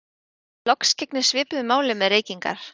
Loks gegnir svipuðu máli með reykingar.